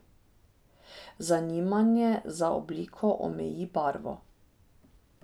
Zanimanje za obliko omeji barvo.